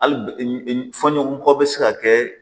Hali bi fɔ ɲɔgɔn kɔ bɛ se ka kɛ